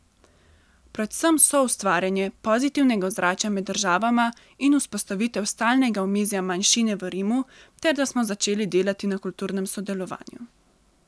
Predvsem soustvarjanje pozitivnega ozračja med državama in vzpostavitev stalnega omizja manjšine v Rimu ter da smo začeli delati na kulturnem sodelovanju.